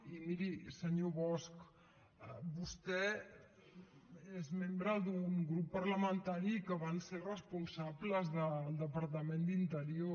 i miri senyor bosch vostè és membre d’un grup parlamentari que van ser responsables del departament d’interior